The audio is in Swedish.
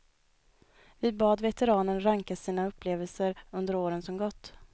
Vi bad veteranen ranka sina upplevelser under åren som gått.